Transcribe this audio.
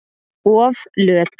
Of löt.